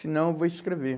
Se não, eu vou escrever.